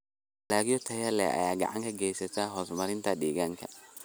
Dalagyo tayo leh ayaa gacan ka geysta horumarinta deegaanka.